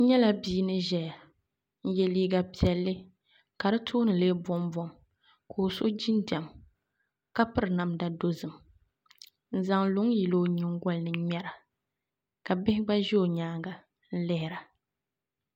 N nyɛla bia ni ʒɛya n yɛ liiga piɛlli ka di tooni lee bombom ka o so jinjɛm ka piri namda dozim n zaŋ luŋ yili o nyingoli ni n ŋmɛra ka bihi gba ʒɛ o nyaanga n lihira